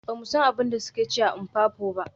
Ba mu san abin da suke ci a Mpopo ba.